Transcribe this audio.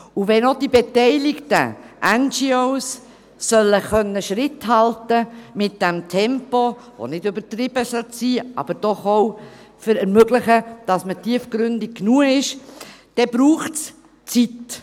Wenn zudem auch die beteiligten NGOs Schritt halten können sollen mit dem Tempo – das nicht übertrieben sein sollte, aber doch auch ermöglichen sollte, dass man tiefgründig genug ist –, dann braucht es Zeit.